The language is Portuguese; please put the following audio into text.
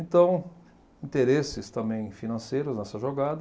Então, interesses também financeiros nessa jogada.